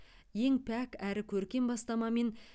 ең пәк әрі көркем бастамамен